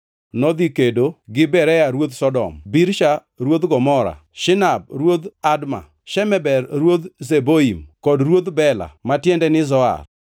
nodhi kedo gi Bera ruodh Sodom, Birsha ruodh Gomora, Shinab ruodh Adma, Shemeber ruodh Zeboim kod ruodh Bela (ma tiende ni Zoar).